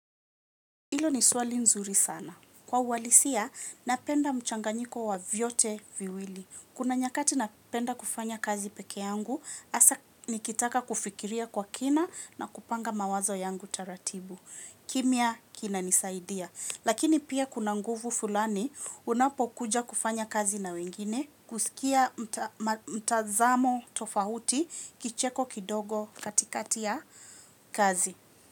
Ilo ni swali nzuri sana. Kwa uwalisia, napenda mchanganyiko wa vyote viwili. Kuna nyakati napenda kufanya kazi pekeyangu, asa nikitaka kufikiria kwa kina na kupanga mawazo yangu taratibu. Kimia, kina nisaidia. Lakini pia kuna nguvu fulani, unapo kuja kufanya kazi na wengine, kusikia mtazamo tofahuti, kicheko kidogo katikati ya kazi.